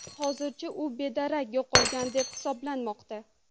Hozircha u bedarak yo‘qolgan deb hisoblanmoqda.